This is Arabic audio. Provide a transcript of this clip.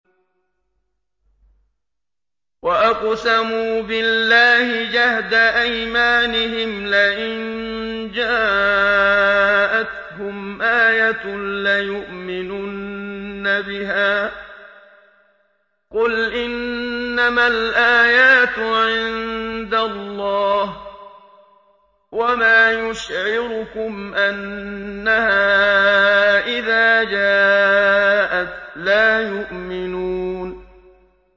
وَأَقْسَمُوا بِاللَّهِ جَهْدَ أَيْمَانِهِمْ لَئِن جَاءَتْهُمْ آيَةٌ لَّيُؤْمِنُنَّ بِهَا ۚ قُلْ إِنَّمَا الْآيَاتُ عِندَ اللَّهِ ۖ وَمَا يُشْعِرُكُمْ أَنَّهَا إِذَا جَاءَتْ لَا يُؤْمِنُونَ